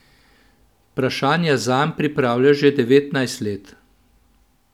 Vprašanja zanj pripravlja že devetnajst let.